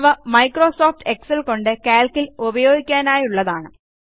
അവ Microsoft Excel കൊണ്ട് Calc ൽ ഉപയോഗിക്കാനായുള്ളതാണ്